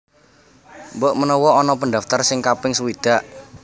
Mbok menawa ono pendaftar sing kaping sewidak